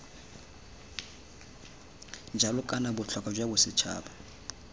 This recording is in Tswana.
jalo kana botlhokwa jwa bosetšhaba